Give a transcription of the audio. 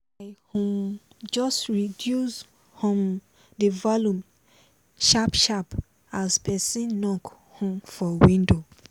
i um just reduce um the volume sharp sharp as person knok um for window